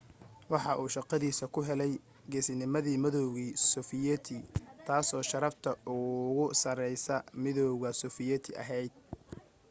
waxa uu shaqadiisa ku helay geesinamadii midowgii sofiyeeti taasoo sharafta ugu sarraysay midowga sofiyeeti ahayd